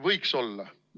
Võiks olla.